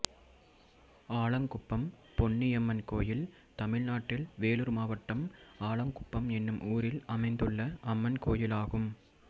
ஆலாங்குப்பம் பொன்னியம்மன் கோயில் தமிழ்நாட்டில் வேலூர் மாவட்டம் ஆலாங்குப்பம் என்னும் ஊரில் அமைந்துள்ள அம்மன் கோயிலாகும்